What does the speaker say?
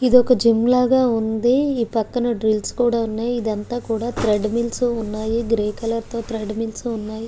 ఇది ఒక జిం లాగా వుంది పక్కన ద్రిల్ల్స్ కూడా వున్నాయ్ ఇది అంతా కూడా థ్రెడ్ మిల్స్ తి వున్నాయ్ గ్రే కలర్ తో థ్రెడ్ మిల్స్వున్నాయ్.